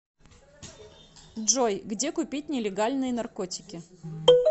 джой где купить нелегальные наркотики